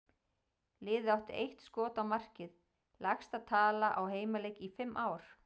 Liðið átti eitt skot á markið, lægsta tala á heimaleik í fimm ár.